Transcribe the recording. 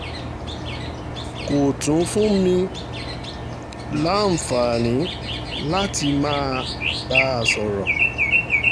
kò tún fún mi láǹfààní láti máa bá a sọ̀rọ̀